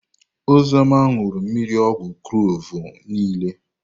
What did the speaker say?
Ozioma ñuru mmiri ogwu kloovu niile.